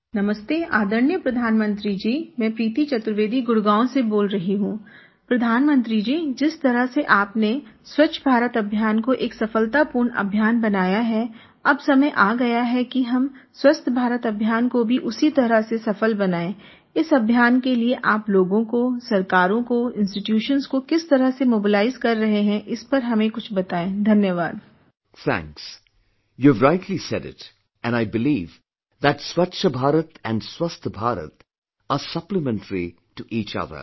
Thanks, you have rightly said it and I believe that Swachch Bharat and Swasth Bharat are supplementary to each other